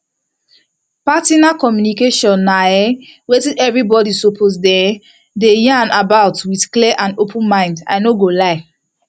partner communication na um wetin everybody suppose um dey yan about with clear and open mind i no go lie